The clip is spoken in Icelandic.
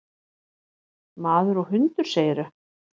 Maður og hundur, segirðu?